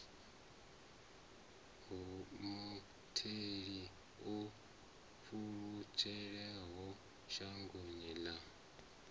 mutheli o pfulutshelaho shangoni ḽa